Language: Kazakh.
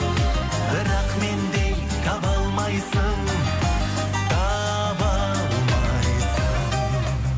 бірақ мендей таба алмайсың таба алмайсың